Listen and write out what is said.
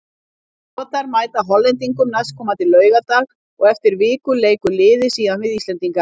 Skotar mæta Hollendingum næstkomandi laugardag og eftir viku leikur liðið síðan við Íslendinga.